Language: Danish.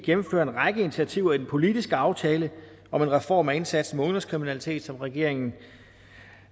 en række initiativer i den politiske aftale om en reform af indsatsen mod ungdomskriminalitet som regeringen